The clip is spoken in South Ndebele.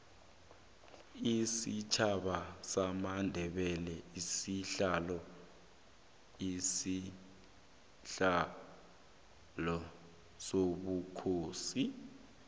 isitjhaba samandebele silwela isihlalo sobukhosi